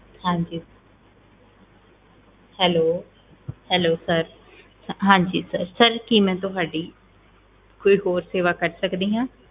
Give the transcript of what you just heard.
ਹਾਂਜੀ Hello hello sir ਹਾਂਜੀ sir sir ਕੀ ਮੈਂ ਤੁਹਾਡੀ ਕੋਈ ਹੋਰ ਸੇਵਾ ਕਰ ਸਕਦੀ ਹਾਂ?